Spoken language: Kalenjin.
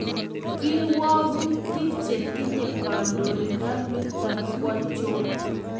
Kirwogutik chetinye kandoindaniton kwochon